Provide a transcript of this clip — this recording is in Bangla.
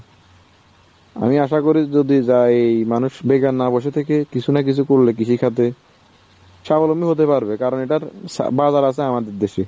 আমি আশা করি যদি যাই মানুষ বর্তমানে যে আপনার employment সমস্যা স্বাবলম্বী হতে পারবে কারণ এটার বাজার আছে আমাদের দেশে।